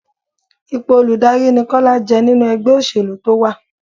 Ipò olùdarí ni Kọ́lá jẹ́ nínú ẹgbẹ́ òṣèlú tó wá.